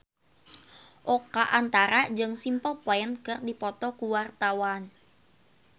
Oka Antara jeung Simple Plan keur dipoto ku wartawan